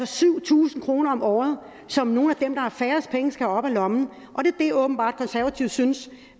syv tusind kroner om året som nogle af dem der har færrest penge skal have op af lommen og det er åbenbart det konservative synes